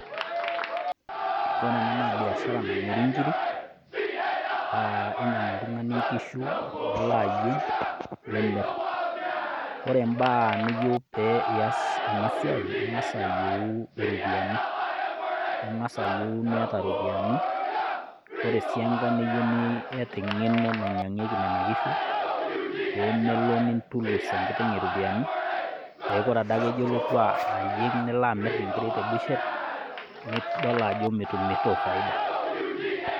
Koree enaa na biashara namiri nkirik, ninyang'u oltung'ani nkishu neloo eyieng nimir. Ore ibaa niyou peyie ilo aas ena siai, ing'as ayeu iropiani, ning'as ayeu iropiani. Ore sii enkae nayeu niyata eng'eno nainyang'ieki nena kishu pemelo nintulus enkiteng' iropiani, peyie ore adake ijo alotu ayieng nilo amir inkishu tebusher nidol ajo mitumito faida.